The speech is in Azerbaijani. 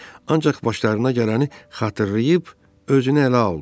Ancaq başlarına gələni xatırlayıb özünü ələ aldı.